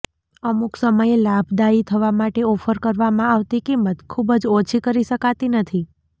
અમુક સમયે લાભદાયી થવા માટે ઓફર કરવામાં આવતી કિંમત ખૂબ જ ઓછી કરી શકાતી નથી